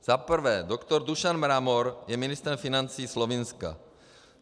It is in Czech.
Za prvé, doktor Dušan Mramor je ministrem financí Slovinska.